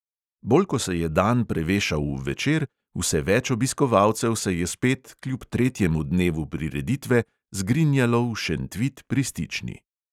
Bolj ko se je dan prevešal v večer, vse več obiskovalcev se je spet kljub tretjemu dnevu prireditve zgrinjalo v šentvid pri stični.